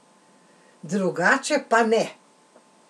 Drugače pa ne!